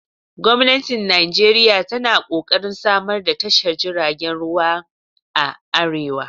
Gwamnati Nijeriya tana ƙoƙarin samar da tashar jiragen ruwan a arewa